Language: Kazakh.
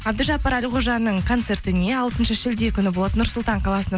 әбдіжаппар әлқожаның концертіне алтыншы шілде күні болады нұр сұлтан қаласы